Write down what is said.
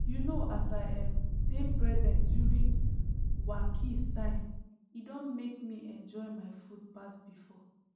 you know as i um dey present during wakis time e don make me enjoy my food pass before